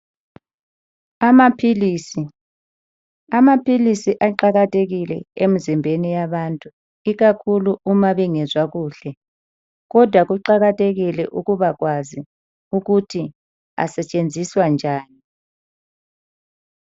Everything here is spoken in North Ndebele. Amaphilisi, amaphilisi aqakathekile emzimbeni yabantu ikakhulu Uma bengezwa kuhle kodwa kuqakathekile ukubakwazi ukuthi asetshenziswa njani.